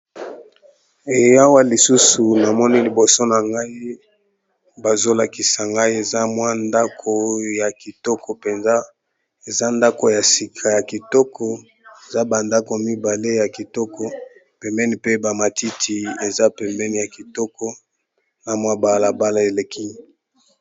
Awa lisusu namoni liboso na ngai bazolakisa ngai eza mwa ndako ya kitoko mpenza eza ndako ya sika ya kitoko eza bandako mibale ya kitoko pembeni pe bamatiti eza pembeni ya kitoko na mwa balabala eleki.